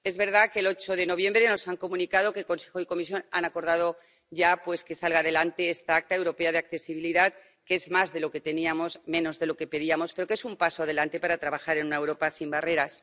Es verdad que el 8 de noviembre nos han comunicado que Consejo y Comisión han acordado ya que salga adelante esta Acta Europea de Accesibilidad, que es más de lo que teníamos y menos de lo que pedíamos, pero que es un paso adelante para trabajar en una Europa sin barreras.